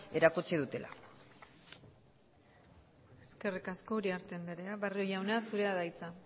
erakutsi dutela eskerrik asko uriarte andrea barrio jauna zurea da hitza